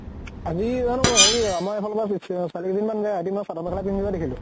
আজি জানো হেৰি আমাৰ এফালৰ পৰা ছোৱালী কেইজনী মান আজি মই চাদৰ মেখেলা পিন্ধি যৱা দেখিলো।